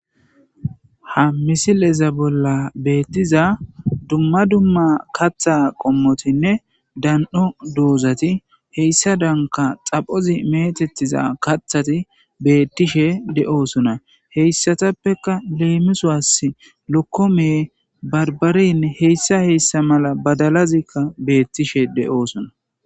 Ha misileza bolla betiza dumma dumma kaththa qommotine dano dozati hegadainka xaphozi metetiza kaththati betishe de'osona He issatapeka lemisuwawu lokome baribarenne badalazi betishe de'osona.